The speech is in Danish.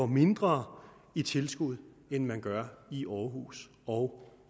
mindre i tilskud end man gør i aarhus og